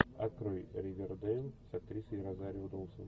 открой ривердэйл с актрисой розарио доусон